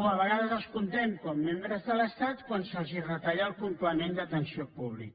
o a vegades els comptem com a membres de l’estat quan se’ls retalla el complement d’atenció públic